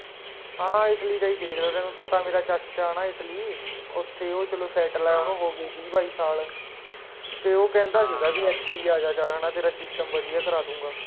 ਹਾਂ Italy ਦਾ ਹੀ ਦੇਖ ਦਾ ਪਿਆ ਮੈਂ ਪਤਾ ਮੇਰਾ ਚਾਚਾ ਹੈ ਨਾ Italy ਉੱਥੇ ਹੀ ਉਹ ਚਲੋ Settle ਹਮਮ ਓਹਨੂੰ ਹੋਗੇ ਵੀਹ ਬਾਈ ਸਾਲ ਹਾਂ ਤੇ ਓਹ ਕਹਿੰਦਾ ਸੀਗਾ ਵੀ ਏਥੇ ਹੀ ਆਜਾਂ ਚੱਲ ਹੈ ਨਾ ਤੇਰਾ system ਵਧੀਆ ਕਰਾ ਦੂੰਗਾ